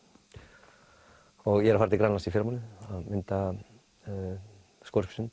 og ég er að fara til Grænlands í fyrramálið að mynda